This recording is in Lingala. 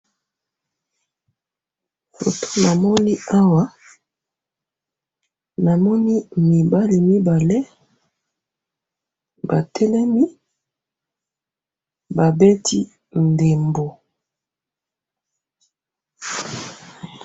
Na moni mibali mibale batelemi ba beti ndembo.